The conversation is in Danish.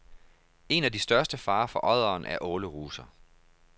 En af de største farer for odderen er åleruser.